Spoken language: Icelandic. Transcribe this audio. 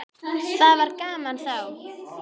Það var gaman þá.